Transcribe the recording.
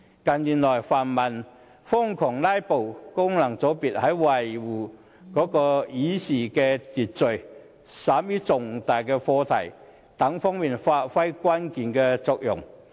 近年來，泛民瘋狂"拉布"，功能界別在維護議事秩序以便審議重大的課題方面發揮了關鍵的作用。